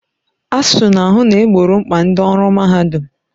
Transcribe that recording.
ASUU na-ahụ na egboro mkpa ndị ọrụ mahadum